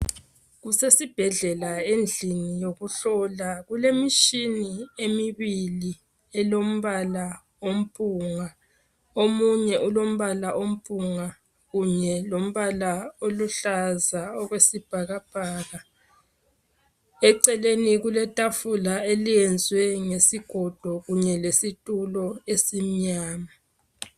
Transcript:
Kusesibhedlela endlini yokuhlola. Kule mitshina emibili elombala ophunga. Omunye elombala ophunga kunye lombala oluhlaza okwesibhakabhaka eceleni kule tafula elenziwe ngesigogokunye lesitulo ezimnyama.